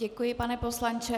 Děkuji, pane poslanče.